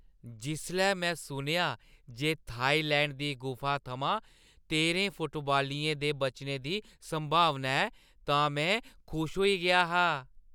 जिसलै मैं सुनेआ जे थाईलैंड दी गुफा थमां तेह्रें फुटबालियें दे बचने दी संभावना ऐ तां में खुश होई गेआ हा।